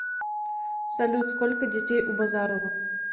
салют сколько детей у базарова